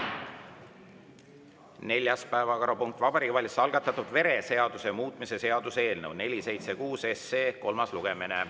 Neljas päevakorrapunkt on Vabariigi Valitsuse algatatud vereseaduse muutmise seaduse eelnõu 476 kolmas lugemine.